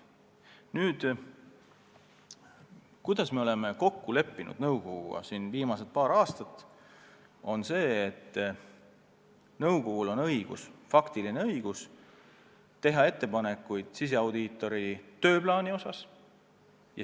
Viimasel paaril aastal me oleme nõukoguga kokku leppinud, et nõukogul on õigus teha ettepanekuid siseaudiitori tööplaani kohta.